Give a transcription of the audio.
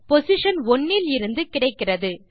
position 1 இலிருந்து கிடைக்கிறது